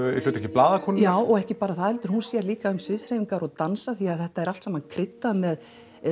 hlutverki blaðakonu já ekki bara það því hún sér líka um sviðshreyfingar og dansa því þetta er allt saman kryddað með